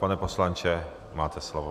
Pane poslanče, máte slovo.